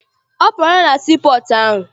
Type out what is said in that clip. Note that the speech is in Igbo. Ọ pụọla na sii pọọtụ ahụ?